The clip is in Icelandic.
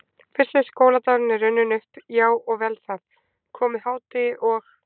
Fyrsti skóladagur er runninn upp, já og vel það, komið hádegi og